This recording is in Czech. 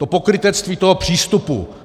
To pokrytectví toho přístupu.